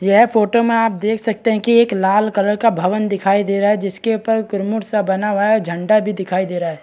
यह फोटो में आप देख सकते है कि एक लाल कलर का भवन दिखाई दे रहा है जिसके ऊपर सा बना हुआ है झंडा भी दिखाई दे रहा है।